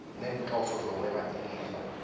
neenhloso zokwaba ilifa